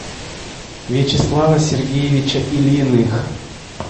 вячеслава сергеевича ильиных